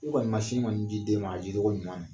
kɔni man sin kɔni di den ma a di cogo ɲuman na.